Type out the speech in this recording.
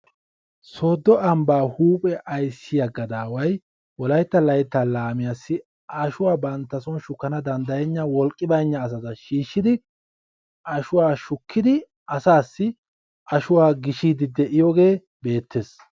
soodo ambaa huuphe ayssiya gadaaway wolaytta layttaa laamiyaasi ashuwa shukkanawu wolqqi baynna asatussi ashuwaa shukkidi gishiyoogee beetees.